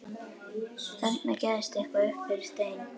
Þarna gægðist eitthvað upp fyrir stein.